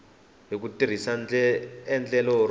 hi ku tirhisa endlelo ro